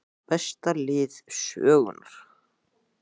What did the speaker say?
Besta lið sögunnar???